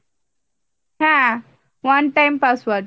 হ্যাঁ, one time password